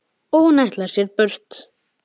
Og hún ætlar sér burt.